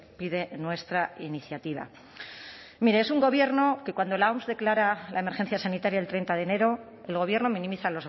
pide nuestra iniciativa mire es un gobierno que cuando la oms declara la emergencia sanitaria el treinta de enero el gobierno minimiza